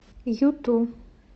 юту